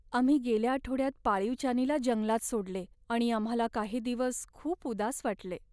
आम्ही गेल्या आठवड्यात पाळीव चानीला जंगलात सोडले आणि आम्हाला काही दिवस खूप उदास वाटले.